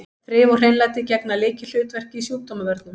Þrif og hreinlæti gegna lykilhlutverki í sjúkdómavörnum.